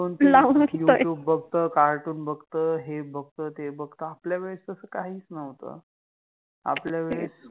लाउन बघतय, YouTube बघत, कार्टुन बघत, हे बघत, ते बघत, आपल्यावेळेस तस काहिच नवत आपल्यावेळेस